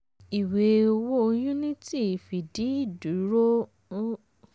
ìwé owó unity fìdí ìdúró